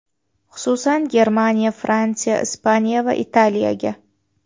Xususan, Germaniya, Fransiya, Ispaniya va Italiyaga.